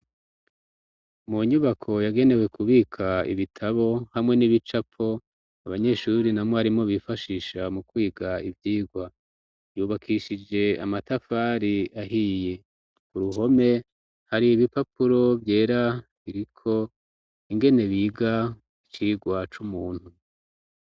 Mu nyubako yagenewe kubika ibitabo hamwe n'ibicapo abanyeshuri na mwarimo bifashisha mu kwiga ivyirwa yubakishije amatafari ahiye ku ruhome hari ibipapuro vyera kiriko ingene biga icirwa c'umuntu.